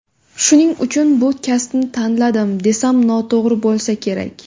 Shuning uchun bu kasbni tanladim, desam noto‘g‘ri bo‘lsa kerak.